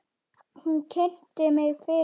Hún kynnti mig fyrir honum.